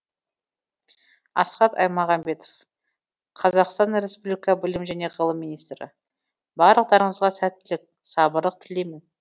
асхат аймағамбетов қазақстан республика білім және ғылым министрі барлықтарыңызға сәттілік сабырлық тілеймін